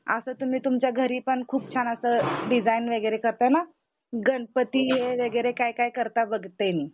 असं तुम्ही तुमच्या घरी पण खूप छान असं डिज़ाइन वगैरे करता ना? गणपती वैगेरे काय काय करता बघते मी.